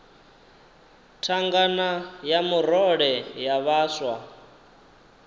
thangana ya murole ya vhaswa